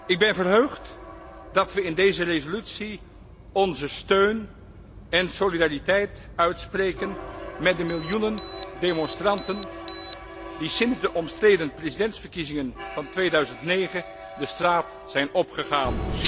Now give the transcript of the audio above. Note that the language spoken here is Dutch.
Ik ben verheugd dat we in deze resolutie onze steun en solidariteit uitspreken met de miljoenen demonstranten die sinds de omstreden presidentsverkiezingen van 2009 de straat zijn opgegaan.